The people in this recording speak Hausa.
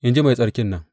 In ji Mai Tsarkin nan.